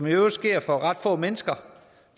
i øvrigt sker for ret få mennesker